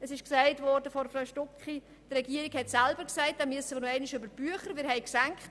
Die Regierung hat selber gesagt, man müsse hier nochmals über die Bücher gehen.